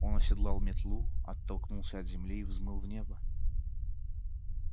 он оседлал метлу оттолкнулся от земли и взмыл в небо